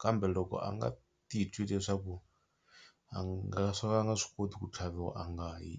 kambe loko a nga titwi leswaku a nga swa ku a nga swi koti ku tlhaviwa a nga yi.